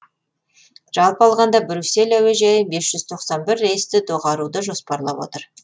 жалпы алғанда брюссель әуежайы бес жүз тоқсан бір рейсті доғаруды жоспарлап отыр